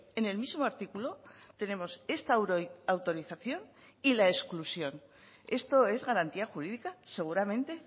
en el mismo artículo tenemos esta autorización y la exclusión esto es garantía jurídica seguramente